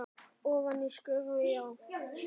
Ofan í skurði, já?